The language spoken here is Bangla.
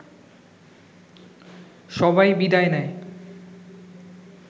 সবাই বিদায় নেয়